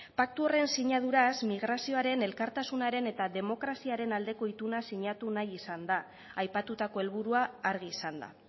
paktu horren sinaduraz migrazioaren elkartasunaren eta demokraziaren aldeko ituna sinatu nahi izan da aipatutako helburua argi izanda